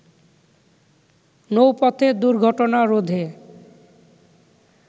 নৌপথে দুর্ঘটনা রোধে